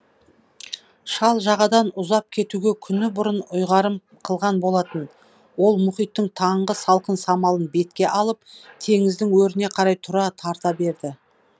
шал жағадан ұзап кетуге күні бұрын ұйғарым қылған болатын ол мұхиттың таңғы салқын самалын бетке алып теңіздің өріне қарай тұра тарта берді